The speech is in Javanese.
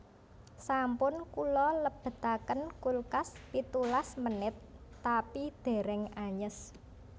Sampun kula lebetaken kulkas pitulas menit tapi dereng anyes